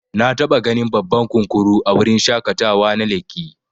Nataba ganin babban kunkuru a wurin shaƙatawa na lekki.